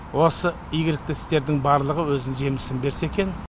осы игілікті істердің барлығы өзінің жемісін берсе екен